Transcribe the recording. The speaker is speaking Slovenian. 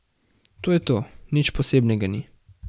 To je to, nič posebnega ni.